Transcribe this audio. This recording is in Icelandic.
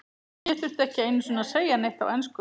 Ég þurfti ekki einu sinni að segja neitt á ensku.